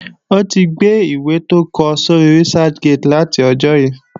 O tí gbe ìwé tó kọ sóri Researchgate láti ọjó yí